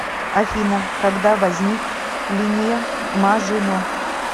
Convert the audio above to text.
афина когда возник линия мажино